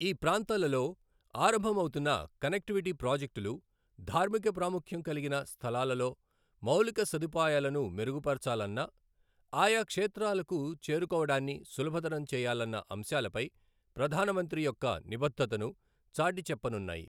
ఈ ప్రాంతాలలో ఆరంభం అవుతున్న కనెక్టివిటీ ప్రాజెక్టులు ధార్మిక ప్రాముఖ్యం కలిగిన స్థలాలలో మౌలిక సదుపాయాలను మెరుగుపరచాలన్న, ఆయా క్షేత్రాలకు చేరుకోవడాన్ని సులభతరం చేయాలన్న అంశాలపై ప్రధాన మంత్రి యొక్క నిబద్ధతను చాటిచెప్పనున్నాయి.